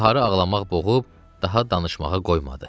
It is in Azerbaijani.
Baharı ağlamaq boğub daha danışmağa qoymadı.